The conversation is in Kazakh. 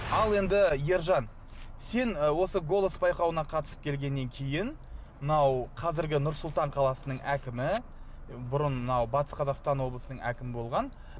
ал енді ержан сен ы осы голос байқауына қатысып келгеннен кейін мынау қазіргі нұр сұлтан қаласынаң әкімі бұрын мына батыс облысының әкімі болған